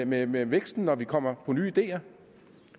med med væksten når vi kommer på nye ideer